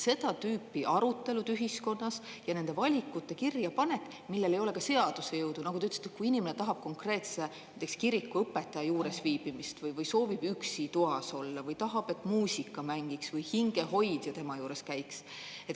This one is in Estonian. Seda tüüpi arutelud ühiskonnas ja nende valikute kirjapanek, millel ei ole seaduse jõudu, nagu te ütlesite, et kui inimene tahab konkreetse näiteks kirikuõpetaja juures viibimist või soovib üksi toas olla või tahab, et muusika mängiks või hingehoidja tema juures käiks.